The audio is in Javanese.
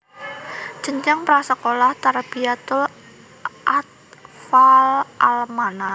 Jenjang pra sekolah Tarbiyatul Athfaal al Manar